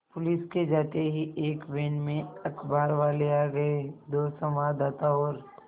police के जाते ही एक वैन में अखबारवाले आ गए दो संवाददाता और